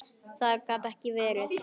Þetta gat ekki verið.